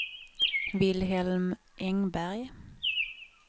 Vilhelm Engberg